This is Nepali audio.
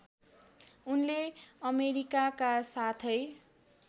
उनले अमेरिकाका साथै